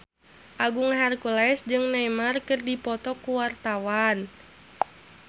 Agung Hercules jeung Neymar keur dipoto ku wartawan